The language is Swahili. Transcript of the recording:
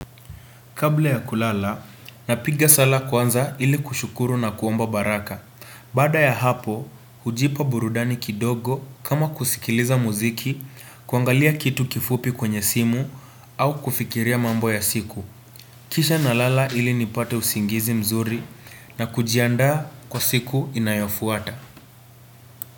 Kabla ya kulala, napiga sala kwanza ili kushukuru na kuomba baraka. Baada ya hapo, hujipa burudani kidogo kama kusikiliza muziki, kuangalia kitu kifupi kwenye simu, au kufikiria mambo ya siku. Kisha ninalala ili nipate usingizi mzuri na kujiandaa kwa siku inayofuata.